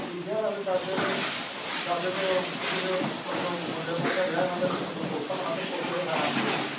ਅਤੇ ਬੀਜਿਆ ਰਾਤ ਦਾਦੇ ਨੇ ਦਾਦੇ ਤੋਂ ਮੁੜ ਕਿਸੇ ਤੋਂ ਅੱਗੋਂ ਮੁੰਡੇ ਮਾਂਡੇ ਦਾ ਵਿਆਹ ਹੋਣਾ ਅਤੇ ਅੱਗੋਂ ਪੋਤਾ ਹੋਣਾ ਅਤੇ ਪੋਤੇ ਨੇ ਖਾਣਾ ਅੰਬ